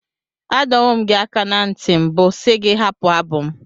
Adọwo m gị aka ná ntị mbụ si gị hapụ abụ m.